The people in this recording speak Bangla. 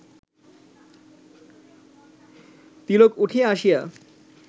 তিলক উঠিয়া আসিয়া